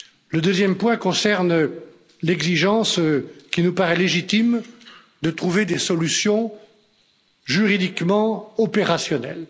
Le deuxième point concerne l'exigence qui nous paraît légitime de trouver des solutions juridiquement opérationnelles.